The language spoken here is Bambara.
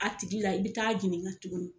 A tigi la i bi taa jininka ka tuguni